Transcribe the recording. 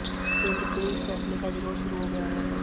केंद्र के इस फैसले का विरोध शुरू हो गया है